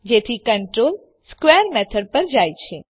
જેથી control square method પર જાય છે